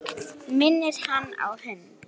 Eins og að ráða gátu.